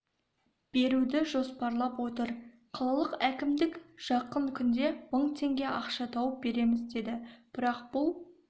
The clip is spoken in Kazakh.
беруді жоспарлап отыр қалалық әкімдік жақын күнде мың теңге ақша тауып береміз деді бірақ бұл